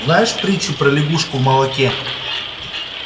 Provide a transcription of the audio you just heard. знаешь притчу про лягушку в молоке